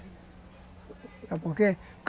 Por quê?